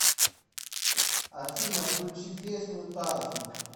афина включи песню тарфинг